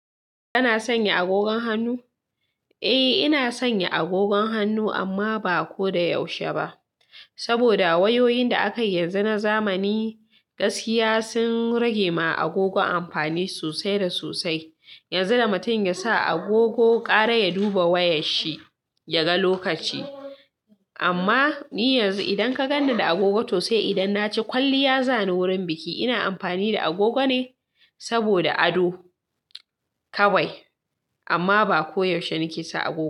Kana sanya agogon hannu? Eh ina sanya agogon hannu amma ba ko da yaushe ba. Saboda wayoyin da aka yi yanzu na zamani, gaskiya sun rage ma agogo amfani sosai da sosai. Yanzu da mutum ya sa agogo, ƙara ya duba wayar shi ya ga lokaci. Amma ni yanzu idan ka ganni da agogo, to sai idan na ce kwalliya za ni wurin biki, ina amfani da agogo ne saboda ado kawai. Amma ba koyaushe nake sa agogo.